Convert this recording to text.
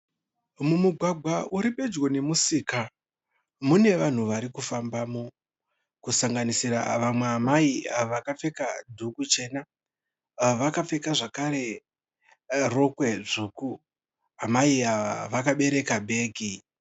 Mumugwagwa uri pedyo nemusika. Mune vanhu varikufambamo kusanganisira vamwe amai vakapfeka dhuku chena Vakapfekawo zvakare rokwe dzvuku, amai ava vakabereka bhegi.